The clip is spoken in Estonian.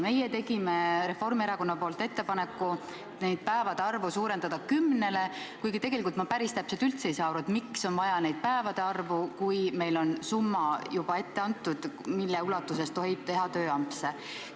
Meie Reformierakonnaga tegime ettepaneku suurendada nende päevade arvu kümnele, kuigi tegelikult ma ei saa päris täpselt aru, miks on üldse vaja seda päevade arvu, kui meil on nagunii juba ette antud summa, mille ulatuses tohib teha tööampse.